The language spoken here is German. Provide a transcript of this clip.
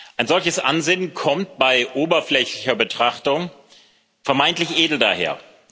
Ein solches Ansinnen kommt bei oberflächlicher Betrachtung vermeintlich edel daher.